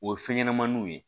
O ye fɛn ɲɛnɛmaniw ye